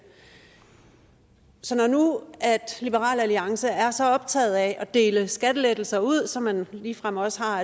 så når nu liberal alliance er så optaget af at dele skattelettelser ud så man ligefrem også har